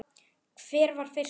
Hver var fyrstur?